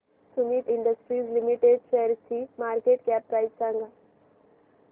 Sumeet industries limited शेअरची market cap price सांगा